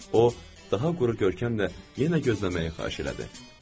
O, daha quru görkəmlə yenə gözləməyi xahiş elədi.